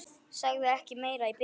Sagði ekki meira í bili.